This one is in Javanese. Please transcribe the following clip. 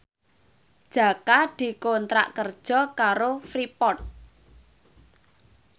Jaka dikontrak kerja karo Freeport